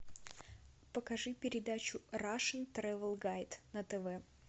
покажи передачу рашн трэвел гайд на тв